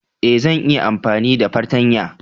Ee, zan iya amfani da fartanya